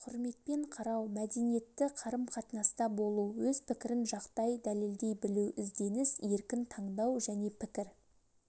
құрметпен қарау мәдениетті қарым-қатынаста болу өз пікірін жақтай дәлелдей білу ізденіс еркін таңдау жеке пікір